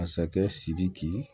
Masakɛ sidiki